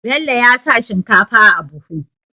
Bello ya sa shinkafa a buhu